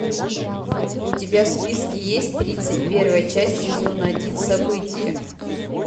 у тебя в списке есть тридцать первая часть сезона один событие